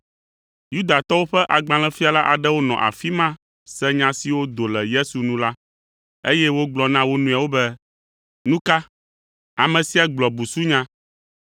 Yudatɔwo ƒe agbalẽfiala aɖewo nɔ afi ma se nya siwo do le Yesu nu la, eye wogblɔ na wo nɔewo be, “Nu ka! Ame sia gblɔ busunya.”